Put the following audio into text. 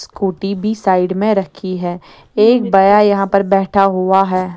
Scooty भी side में रखी है एक बया यहां पर बैठा हुआ है।